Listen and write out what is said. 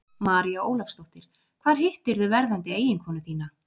María Ólafsdóttir: Hvar hittirðu verðandi eiginkonu þína?